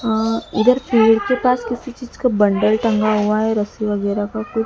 अ उधर पेड़ के पास किसी चीज का बंडल टंगा हुआ है रस्सी वगैरा का कु--